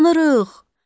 Yanırıq!